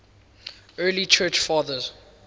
early church fathers